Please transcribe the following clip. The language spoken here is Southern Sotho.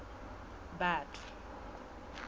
batho